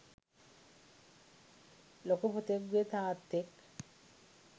ලොකු පුතෙකුගේ තාත්තෙක්